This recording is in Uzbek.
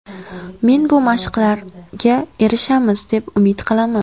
Men bu maqsadlarga erishamiz, deb umid qilaman.